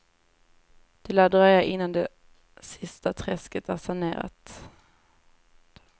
Det lär dröja inann det sista träsket är sanerat.